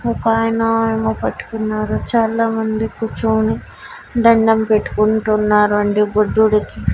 ఒకాయన ఏమో పట్టుకున్నారు చాలామంది కూర్చొని దండం పెట్టుకుంటున్నారు అండి బుద్ధుడికి.